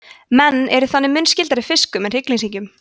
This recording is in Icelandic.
menn eru þannig mun skyldari fiskum en hryggleysingjum